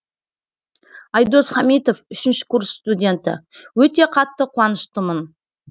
айдос хамитов үшінші курс студенті өте қатты қуаныштымын